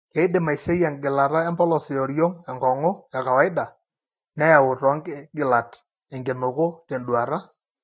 Keidim aiseyie engilata empolos eoriong' enkong'u ekawaida, neyau toonkigilat enkinuku tenduata.